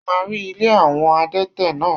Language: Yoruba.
Ṣé o máa rí ilé àwọn adẹ́tẹ̀ náà?